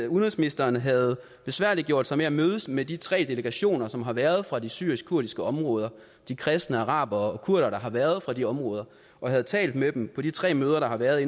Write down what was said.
udenrigsministeren havde besværliggjort sig med at mødes med de tre delegationer som har været fra de syriske kurdiske områder de kristne arabere og kurderne der har været fra de områder og havde talt med dem på de tre møder der har været